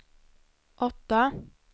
åtta